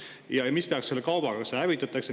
Ja mida tehakse selle kaubaga, kas see hävitatakse?